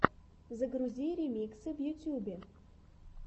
загрузи ремиксы в ютубе